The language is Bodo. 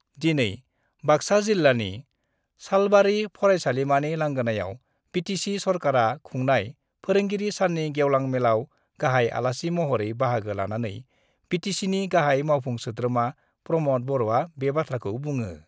दिनै बाक्सा जिल्लानि सालबारि फरायसालिमानि लांगोनायाव बिटिसि सरकारा खुंनाय फोरोंगिरि साननि गेवलां मेलाव गाहाइ आलासि महरै बाहागो लानानै बिटिसिनि गाहाइ मावफुं सोद्रोमा प्रमद बर'आ बे बाथ्राखौ बुङो।